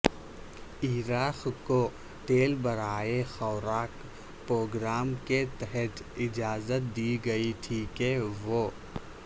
عراق کو تیل برائے خوراک پروگرام کے تحت اجازت دی گئی تھی کہ وہ